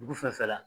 Dugu fɛn fɛn la